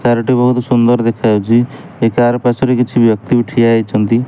Car ଟି ବହୁତ ସୁନ୍ଦର ଦେଖାଯାଉଛି ଏ କାର ପାର୍ଶ୍ୱରେ କିଛି ବ୍ୟକ୍ତି ଠିଆ ହୋଇଛନ୍ତି।